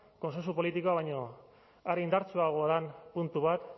kontsentsu politikoa baino are indartsuagoa den puntu bat